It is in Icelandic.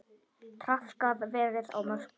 Traðkað verið á mörkum.